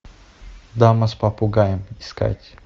дама с попугаем искать